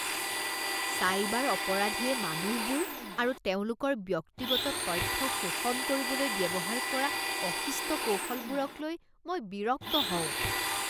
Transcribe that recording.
Cyber অপৰাধীয়ে মানুহবোৰ আৰু তেওঁলোকৰ ব্যক্তিগত তথ্য শোষণ কৰিবলৈ ব্যৱহাৰ কৰা অশিষ্ট কৌশলবোৰক লৈ মই বিৰক্ত হওঁ।